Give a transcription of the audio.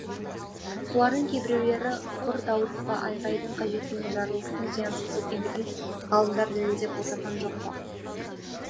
солардың кейбіреулері құр даурықпа айғайдың қажеті не жарылыстың зиянсыз екендігін ғалымдар дәлелдеп отырған жоқ па